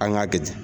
An k'a kɛ ten